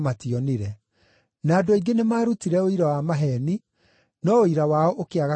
Na andũ aingĩ nĩmarutire ũira wa maheeni, no ũira wao ũkĩaga kũiguana.